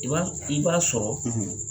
I b'a i b'a sɔrɔ